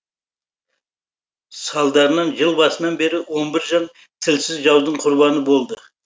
салдарынан жыл басынан бері он бір жан тілсіз жаудың құрбаны болды